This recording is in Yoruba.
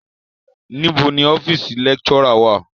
Níbo ni ọ́fíísì lecturer wá à?